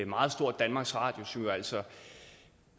meget stort danmarks radio som altså